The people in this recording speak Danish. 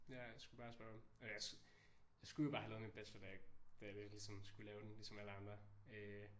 Ja jeg skulle bare spare op og jeg jeg skulle jo bare have lavet min bachelor da jeg da jeg lidt ligesom skulle lave den ligesom alle andre øh